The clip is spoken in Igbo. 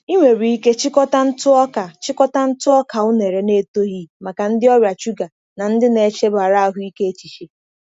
Ị nwere ike chịkọta ntụ ọka chịkọta ntụ ọka unere na-etoghị maka ndị ọrịa shuga na ndị na-echebara ahụike echiche.